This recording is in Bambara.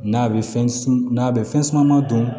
N'a bɛ fɛn n'a bɛ fɛn caman dun